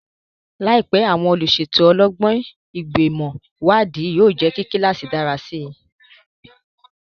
Láìpẹ́, àwọn olùṣètò ọlọ́gbọ́n, Ìgbìmọ̀ Ìwádìí, yóò jẹ́ kí kíláàsì dára sí i.